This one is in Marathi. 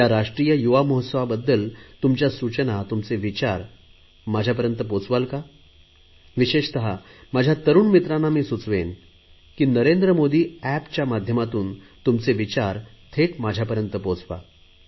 या राष्ट्रीय युवा महोत्सवाबद्दल तुमच्या सूचना तुमचे विचार माझ्यापर्यंत पोहचवाल का विशेषत माझ्या तरुण मित्रांना मी सुचवेन की नरेंद्र मोदी एपच्या माध्यमातून तुमचे विचार थेट माझ्यापर्यंत पोहचवा